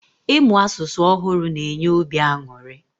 Ịmụ asụsụ ọhụrụ na enye obi aṅụrị